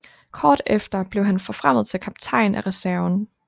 Kort efter blev han forfremmet til kaptajn af reserven